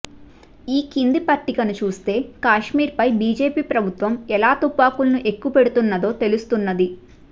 ఈ కింది పట్టికను చూస్తే కాశ్మీర్పై బీజేపీ ప్రభుత్వం ఎలా తుపాకుల్ని ఎక్కుపెడుతున్నదో తెలుస్తున్నది